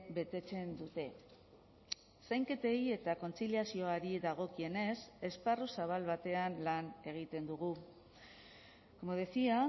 betetzen dute zainketei eta kontziliazioari dagokienez esparru zabal batean lan egiten dugu como decía